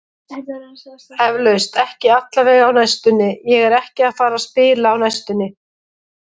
Eflaust, ekki allavega á næstunni, ég er ekki að fara að spila á næstunni.